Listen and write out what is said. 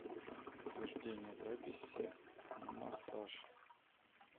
подтверждение записи на массаж